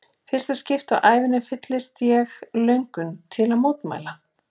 fyrsta skipti á ævinni fyllist ég löngun til að mótmæla.